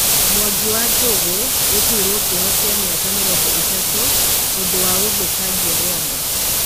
MwangũWanjũgũgũtwirwo kioho kĩa mĩaka mĩrongo ĩtatũnĩ ũndũwa ũthũkangia Rwanda.